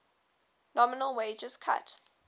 nominal wage cuts